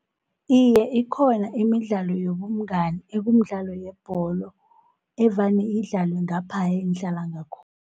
Iye, ikhona imidlalo yobungani ekumidlalo yebholo, evane idlalwe ngapha engihlala ngakhona.